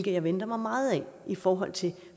jeg venter mig meget af i forhold til